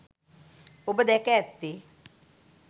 ඔබ දැක ඇත්තේ